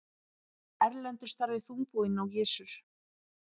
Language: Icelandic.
Erlendur starði þungbúinn á Gizur.